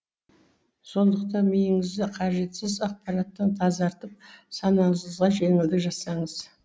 сондықтан миыңызды қажетсіз ақпараттан тазартып санаңызға жеңілдік жасаңыз